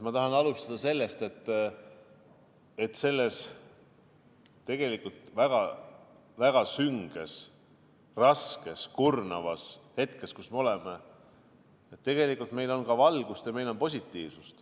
Ma tahan alustada sellest, et selles tegelikult väga sünges, raskes, kurnavas hetkes, kus me oleme, on meil ka valgust ja positiivsust.